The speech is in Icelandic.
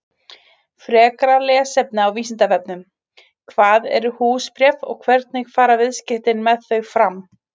Frekara lesefni á Vísindavefnum: Hvað eru húsbréf og hvernig fara viðskipti með þau fram?